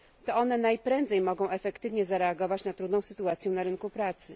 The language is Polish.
To one najprędzej mogą efektywnie zareagować na trudną sytuację na rynku pracy.